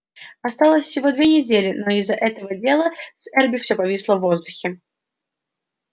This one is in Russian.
осталось всего две недели но из-за этого дела с эрби всё повисло в воздухе